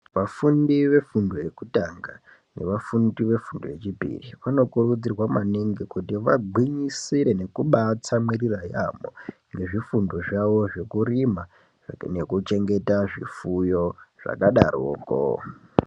Vafundi vefundo yekutanga nevafundi vefundo yechipiri vano kurudzirwa maningi kuti vakurudzirwe nekubatsamwirira yambo zvefundo zvawo zvekurima nekuchengeta zvifuyo zvakadaroko.